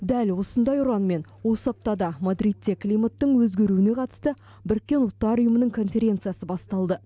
дәл осындай ұранмен осы аптада мадридте климаттың өзгеруіне қатысты біріккен ұлттар ұйымының конференциясы басталды